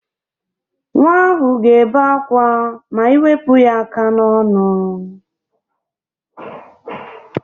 Nwa ahụ ga-ebe akwa ma ị wepụ ya aka n'ọnụ